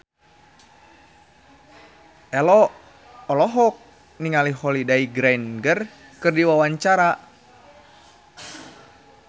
Ello olohok ningali Holliday Grainger keur diwawancara